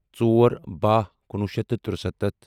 ژور باہ کُنوُہ شیٚتھ تہٕ تُرٛسَتتھ